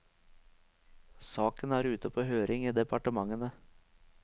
Saken er ute på høring i departementene.